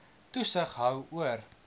toesig hou oor